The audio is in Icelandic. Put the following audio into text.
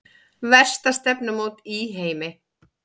Versta stefnumót í heimi